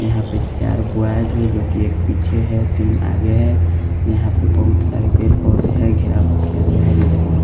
यहाँ पे चार बॉयज हैजो कि एक पीछे है तीन आगे है यहाँ पे बहुत सारे पेर पौधे है घिरावा किया गया है जो देखने में--